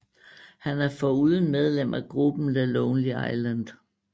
Han er foruden medlem af gruppen The Lonely Island